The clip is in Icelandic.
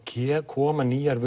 koma nýjar